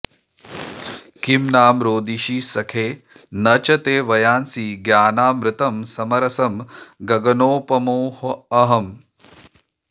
किं नाम रोदिषि सखे न च ते वयांसि ज्ञानामृतं समरसं गगनोपमोऽहम्